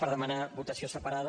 per demanar votació separada